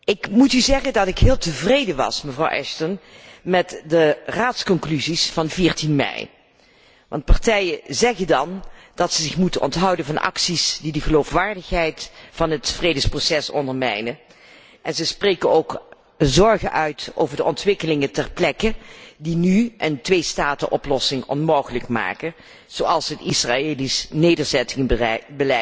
Ik moet u zeggen dat ik heel tevreden was, mevrouw Ashton, met de Raadsconclusies van 14 mei, want de partijen zeggen dan dat ze zich moeten onthouden van acties die de geloofwaardigheid van het vredesproces ondermijnen en ze spreken ook hun zorg uit over de ontwikkelingen ter plekke, die nu een tweestatenoplossing onmogelijk maken, zoals het Israëlisch nederzettingenbeleid,